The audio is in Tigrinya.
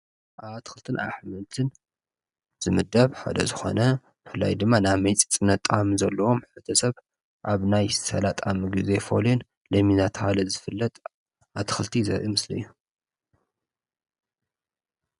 ኣብ ኣትኽልቲን ኣሕምልትን ዝምደብ ሓደ ዝኾነ ብፍላይ ድማ ናይ መፂፅነት ጣዕሚ ዘለዎም ንሰብ ኣብ ናይ ስላጣ ምግቢ ዘይፈልዩን ሎሚን እናተብሃለ ዝፍለጥ ኣትኽልቲ ዘርኢ ምስሊ እዩ ።